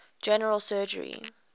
general surgery